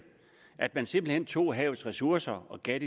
at man simpelt hen tog havets ressourcer og gav